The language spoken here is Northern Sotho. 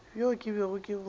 bjo ke bego ke bo